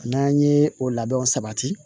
N'an ye o labɛnw sabati